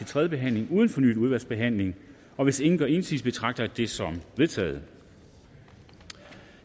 tredje behandling uden fornyet udvalgsbehandling og hvis ingen gør indsigelse betragter jeg dette som vedtaget